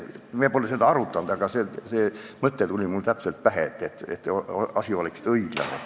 Me pole seda arutanud, aga see mõte tuli mulle pähe, et ehk see lahendus oleks õiglane.